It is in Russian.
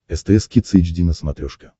стс кидс эйч ди на смотрешке